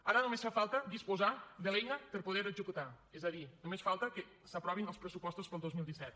ara només fa falta disposar de l’eina per a poder ho executar és a dir només falta que s’aprovin els pressupostos per al dos mil disset